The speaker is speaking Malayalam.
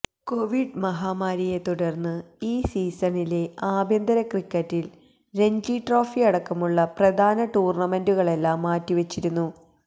കൊവിഡ് മഹാമാരിയെ തുടര്ന്നു ഈ സീസണിലെ ആഭ്യന്തര ക്രിക്കറ്റില് രഞ്ജി ട്രോഫിയടക്കമുള്ള പ്രധാന ടൂര്ണമെന്റുകളെല്ലാം മാറ്റിവച്ചിരുന്നു